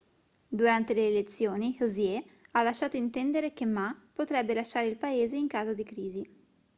durante le elezioni hsieh ha lasciato intendere che ma potrebbe lasciare il paese in caso di crisi